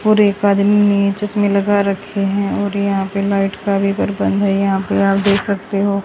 पूरे एक आदमी ने चश्मे लगा रखे है और यहां पे लाइट का भी प्रबंध है यहां पे आप देख सकते हो।